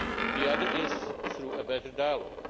The other is through a better dialogue.